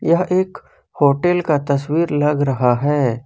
यह एक होटल का तस्वीर लग रहा है।